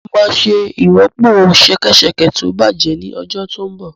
Mo máa ṣe ìrọ́pò ṣẹkẹ́ṣẹkẹ̀ tó bàjẹ́ ní ọjọ́ tó ń bọ̀